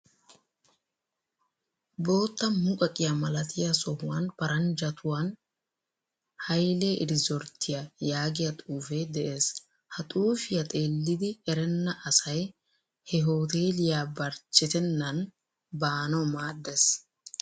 Bootta muqaqiya malatiya sohuwan paranjjattuwan "Hayle Erizzorttiya" yaagiya xuufee de'ees. Ha xuufiya xeellidi erenna asay he hooteeliya barchchetennan baanawu maaddees.